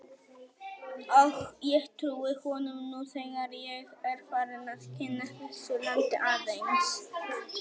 Og ég trúi honum nú þegar ég er farinn að kynnast þessu landi aðeins.